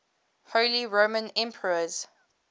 holy roman emperors